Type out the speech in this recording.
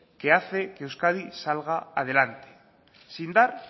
que hace que euskadi salga adelante sin dar